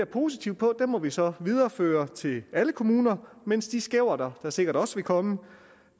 positivt på må vi så videreføre til alle kommuner mens de skæverter der sikkert også vil komme